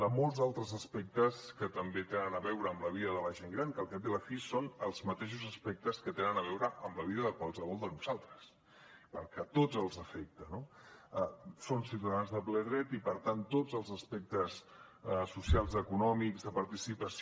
de molts altres aspectes que també tenen a veure amb la vida de la gent gran que al cap i a la fi són els mateixos aspectes que tenen a veure amb la vida de qualsevol de nosaltres perquè a tots ens afecta no són ciutadans de ple dret i per tant tots els aspectes socials econòmics de participació